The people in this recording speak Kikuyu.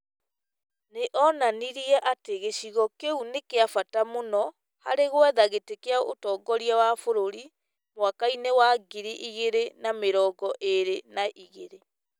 Nĩ onanirie atĩ gĩcigo kĩu nĩ kĩa bata mũno harĩ gwetha gĩtĩ kĩa ũtongoria wa bũrũri mwaka-inĩ wa ngiri igĩrĩ na mĩrongo ĩrĩ na igĩrĩ .